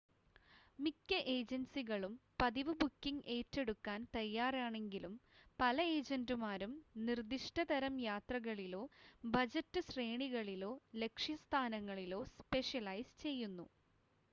മിക്ക ഏജൻസികളും പതിവ് ബുക്കിംഗ് ഏറ്റെടുക്കാൻ തയ്യാറാണെങ്കിലും പല ഏജൻ്റുമാരും നിർദിഷ്‌ട തരം യാത്രകളിലോ ബജറ്റ് ശ്രേണികളിലോ ലക്ഷ്യസ്ഥാനങ്ങളിലോ സ്‌പെഷ്യലൈസ് ചെയ്യുന്നു